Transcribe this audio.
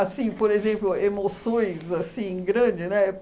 por exemplo, emoções, assim, grande, né?